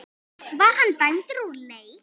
Var hann dæmdur úr leik?